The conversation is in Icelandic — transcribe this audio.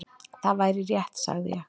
"""Það væri rétt, sagði ég."""